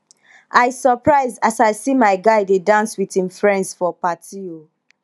i surprise as i see my guy dey dance with him friends for party o